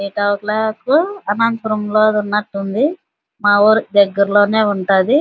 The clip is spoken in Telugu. ఈ టవర్ క్లోక్ అనంతపురంలో ఉన్నట్టు ఉంది. మా ఊరు దగ్గరలోనే ఉంటాది.